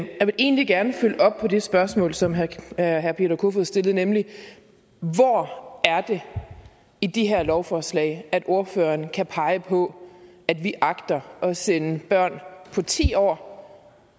jeg vil egentlig gerne følge op på det spørgsmål som herre peter kofod poulsen stillede nemlig hvor det er i de her lovforslag at ordføreren kan pege på at vi agter at sende børn på ti år